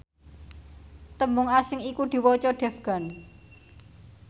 tembung asing iku diwaca devgan